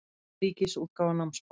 Ríkisútgáfa námsbóka.